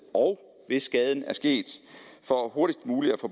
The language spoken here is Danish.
og hvis skaden er sket så hurtigst muligt at få